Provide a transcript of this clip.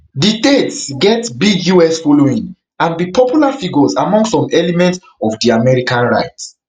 di tates get big us following and be popular figuresamong some elements ofdi american right